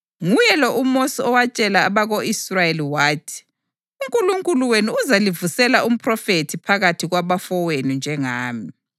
Nguye lo uMosi owatshela abako-Israyeli wathi, ‘UNkulunkulu wenu uzalivusela umphrofethi phakathi kwabafowenu njengami.’ + 7.37 UDutheronomi 18.15